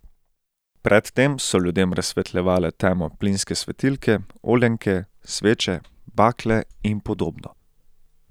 Pred tem so ljudem razsvetljevale temo plinske svetilke, oljenke, sveče, bakle in podobno.